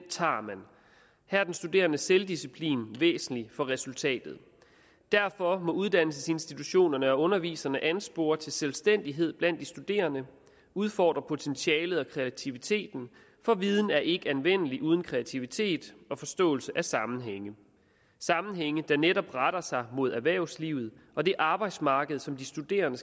studerendes selvdisciplin væsentlig for resultatet derfor må uddannelsesinstitutionerne og underviserne anspore til selvstændighed blandt de studerende udfordre potentialet og kreativiteten for viden er ikke anvendelig uden kreativitet og forståelse af sammenhænge sammenhænge der netop retter sig mod erhvervslivet og det arbejdsmarked som de studerende